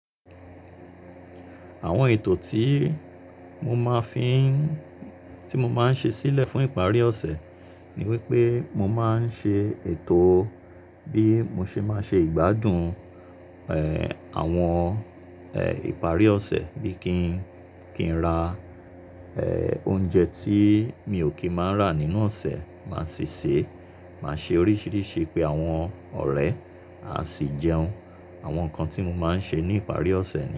Àwọn ètò tí mo máa ń fi ṣe sílẹ̀ fún ìparí ọ̀sẹ̀ ni wípé mo máa ń ṣe ètò bí mo ṣe máa ṣe ìgbádùn, ẹ, àwọn, ẹ, ìparí ọ̀sẹ̀ bí kin kí n rà, ẹ, oúnjẹ tí mi ò kí máa rà nínú ọ̀sẹ̀ máa sì ṣe, máa ṣe oríṣiríṣi pé àwọn ọ̀rẹ́ à sì jẹun. Àwọn nǹkan tí mo máa ń ṣe ní ìparí ọ̀sẹ̀ ni.